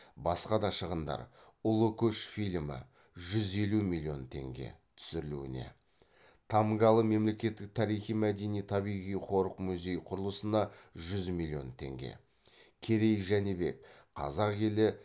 басқа да шығындар ұлы көш фильмі жүз елу миллион теңге түсірілуіне тамгалы мемлекеттік тарихи мәдени табиғи қорық музей құрылысына жүз миллион теңге керей жәнібек қазақ елі